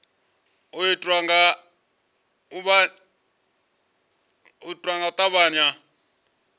u itiwa nga u tavhanya